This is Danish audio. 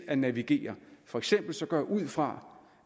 at navigere for eksempel går jeg ud fra